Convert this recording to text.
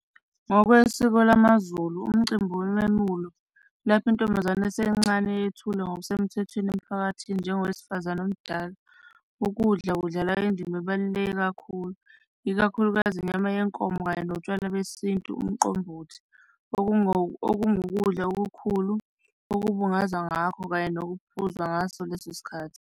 Ngokwesiko lamaZulu, umcimbi wememulo lapho intombazane esencane yethulwe ngokusemthethweni emphakathini njengowesifazane omdala. Ukudla kudlala indima ebalulekile kakhulu, ikakhulukazi inyama yenkomo kanye notshwala besintu umqombothi, okungukudla okukhulu okubungaza ngakho kanye nokuphuza ngaso leso sikhathi.